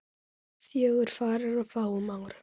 Fjögur farin á fáum árum.